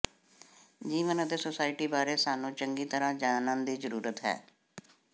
ਜੀਵਨ ਅਤੇ ਸੁਸਾਇਟੀ ਬਾਰੇ ਸਾਨੂੰ ਚੰਗੀ ਤਰ੍ਹਾਂ ਜਾਣਨ ਦੀ ਜ਼ਰੂਰਤ ਹੈ